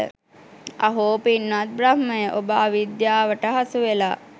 අහෝ, පින්වත් බ්‍රහ්මය, ඔබ අවිද්‍යාවට හසුවෙලා.